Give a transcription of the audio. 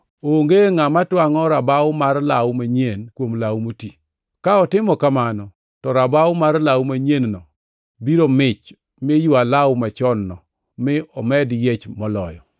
“Onge ngʼama twangʼo rabaw mar law manyien kuom law moti. Ka otimo kamano to rabaw mar law manyien-no biro mich mi ywa law machon-no mi omed yiech moloyo.